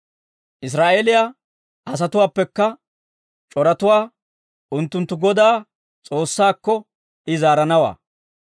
«Israa'eeliyaa asatuwaappekka c'oratuwaa unttunttu Godaa S'oossaakko, I zaaranawaa.